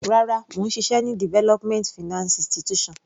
Rárá, mò ń ṣiṣẹ́ ní development finance institution.